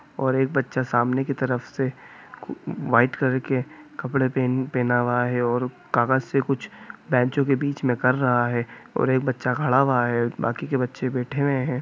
और एक बच्चा सामने की तरफ से वाइट कलर के कपड़े पे पहना हुआ है और कागज से कुछ बेंचो के बीच में कर रहा है और एक बच्चा खड़ा हुआ है बाकी के बच्चे बैठे हुए हैं |